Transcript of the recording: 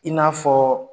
I n'a fɔ